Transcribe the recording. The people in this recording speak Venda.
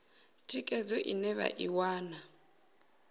thikhedzo ine vha i wana